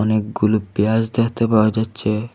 অনেকগুলো পেঁয়াজ দেখতে পাওয়া যাচ্ছে।